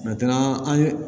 an ye